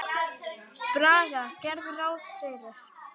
Braga gerðu ráð fyrir.